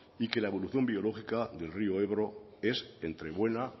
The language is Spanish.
y que la evolución biológica del rio ebro es entre buena